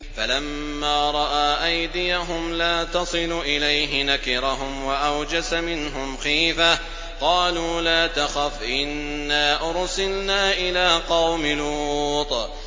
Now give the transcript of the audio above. فَلَمَّا رَأَىٰ أَيْدِيَهُمْ لَا تَصِلُ إِلَيْهِ نَكِرَهُمْ وَأَوْجَسَ مِنْهُمْ خِيفَةً ۚ قَالُوا لَا تَخَفْ إِنَّا أُرْسِلْنَا إِلَىٰ قَوْمِ لُوطٍ